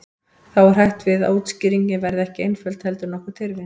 Þá er hætt við að útskýringin verði ekki einföld heldur nokkuð tyrfin.